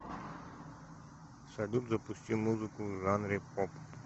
салют запусти музыку в жанре поп